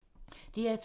DR2